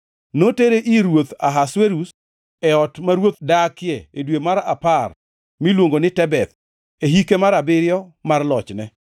Notere ir ruoth Ahasuerus e ot ma ruoth dakie e dwe mar apar miluongo ni Tebeth, e hike mar abiriyo mar lochne.